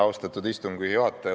Austatud istungi juhataja!